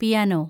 piano